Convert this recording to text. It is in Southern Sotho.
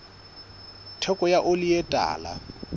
theko ya oli e tala